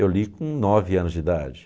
Eu li com nove anos de idade.